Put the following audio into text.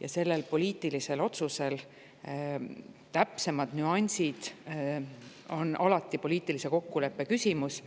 ja selle poliitilise otsuse täpsemad nüansid on alati poliitilise kokkuleppe küsimus.